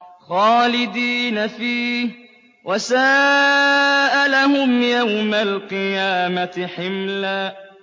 خَالِدِينَ فِيهِ ۖ وَسَاءَ لَهُمْ يَوْمَ الْقِيَامَةِ حِمْلًا